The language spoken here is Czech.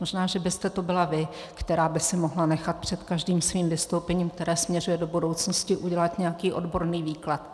Možná že byste to byla vy, která by si mohla nechat před každým svým vystoupením, které směřuje do budoucnosti, udělat nějaký odborný výklad.